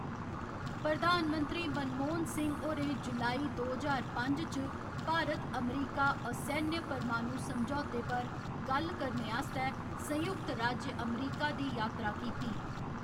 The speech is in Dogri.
प्रधानमंत्री मनमोहन सिंह होरें जुलाई, दो ज्हार पंज च भारत अमरीका असैन्य परमाणु समझौते पर गल्ल करने आस्तै संयुक्त राज्य अमेरिका दी यात्रा कीती।